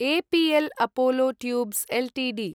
APL Apollo tubes Ltd